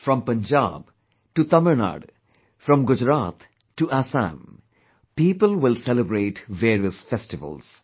From Punjab to Tamil Nadu...from Gujarat to Assam...people will celebrate various festivals